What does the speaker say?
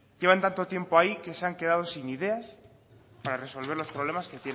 llevan tanto tiempo ahí que se han quedado sin ideas para resolver los problemas que